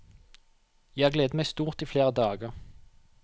Jeg har gledet meg stort i flere dager.